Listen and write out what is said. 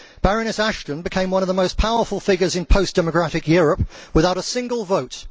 Baroness Ashton became one of the most powerful figures in post democratic Europe without a single vote.